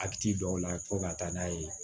A bi ci dɔw la fo ka taa n'a ye